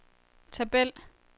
tabel